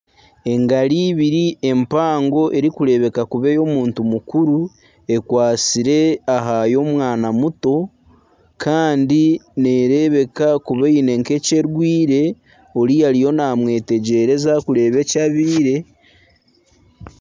Engaro ibiri empango emwe erikureebeka kuba ey'omuntu mukuru ekwatsire aha y'omwana muto kandi neerebeka kuba eine nk'ekyerwaire oriya ariyo naamwetegyereza kureeba eki abaire